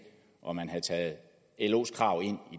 og at man havde taget los krav